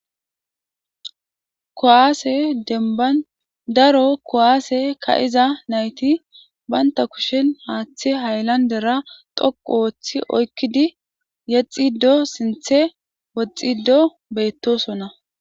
kowaase denban daro kowaase ka7iza nayti baynta kushen haaththi hayllandera xoqu ooththi oykkidi yexxido sinthe woxxido beettosona